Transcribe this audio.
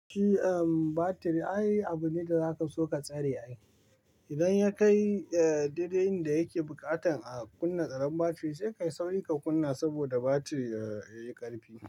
Shi battery ai abu ne da zaka so ka tsare ai. Idan ya kai dede in da yake buƙatan a kunna tsaron battery, sai ka yi sauri ka kunna saboda battery yayi ƙarfi.